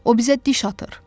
O bizə diş atır.